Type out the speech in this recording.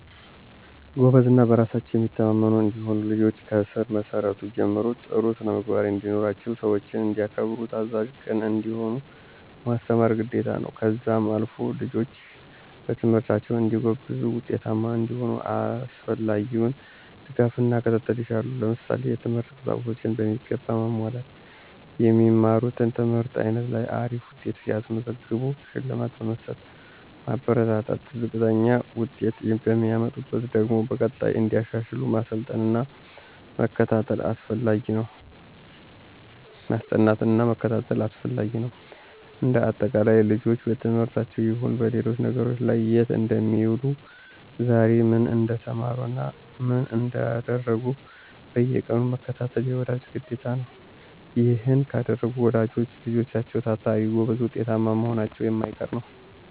ጎበዝ እና በራሳቸው የሚተማመኑ እንዲሆኑ ልጆችን ከስር መሰረቱ ጀምሮ ጥሩ ስነምግባርን እንዲኖራቸው ሰዎችን እንዲያከብሩ ታዛዥ፣ ቅን እንዲሆኑ ማስተማር ግዴታ ነው። ከዛም አልፎ ልጆች በትምህርታቸው እንዲጎብዙ ውጤታማ እንዲሆኑ አስፈላጊውን ድጋፍና ክትትል ይሻሉ። ለምሳሌ፦ የትምህርት ቁሳቁሶችን በሚገባ ማሟላት። የሚማሩት ትምህርት አይነት ላይ አሪፍ ውጤት ሲያስመዘግቡ ሽልማት በመስጠት ማበረታታት፣ ዝቅተኛ ውጤት የሚያመጡበትን ደግሞ በቀጣይ እንዲያሻሽሉ ማስጠናት መከታተል አስፈላጊ ነው። እንደ አጠቃላይ ልጆችን በትምህርታቸውም ይሁን በሌሎች ነገሮች ላይ የት እንደሚውሉ ዛሬ ምን እንደተማሩ ምን እንዳደረጉ በየቀኑ መከታተል የወላጅ ግዴታ ነው። ይሔን ካደረጉ ወላጆች ልጆችም ታታሪ፣ ጎበዝ ውጤታማ መሆናቸው የማይቀር ነው።